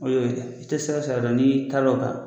O ye o ye i tɛ sira o sira dɔn n'i y'i kari o kan